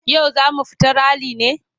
Yau za mu fita rali ne?